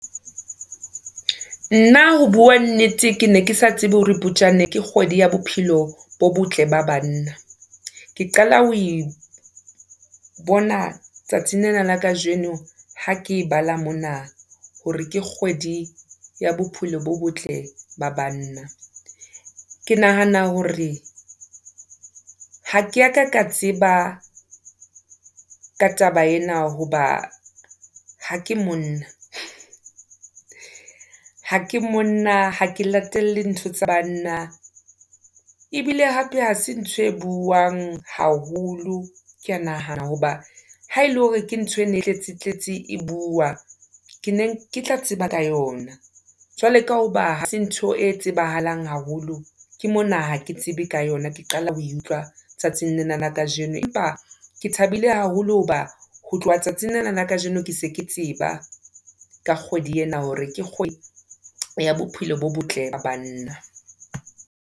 Nna ho bua nnete ke ne ke sa tsebe hore Phupjane ke kgwedi ya bophelo bo botle ba banna. Ke qala ho e bona tsatsing lena la kajeno ha ke e bala mona hore ke kgwedi ya bophelo bo botle ba banna. Ke nahana hore, ha ke a ka ka tseba ka taba ena hoba ha ke monna. Ha ke monna, ha ke latele ntho tsa banna ebile hape ha se ntho e buuwang haholo, ke a nahana. Hoba ha ele hore ke ntho e ne e tletse-tletse e buuwa, ke ne ke tla tseba ka yona. Jwale ka hoba ha se ntho e tsebahalang haholo, ke mona hake tsebe ka yona ke qala ho e utlwa tsatsing lena la kajeno. Empa ke thabile haholo hoba ho tloha tsatsing lena la kajeno ke se ke tseba ka kgwedi ena hore ke kgwedi ya bophelo bo botle ba banna.